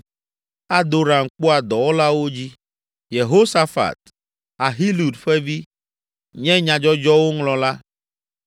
Adoram kpɔa dɔwɔlawo dzi. Yehosafat, Ahilud ƒe vi, nye nyadzɔdzɔwo ŋlɔla,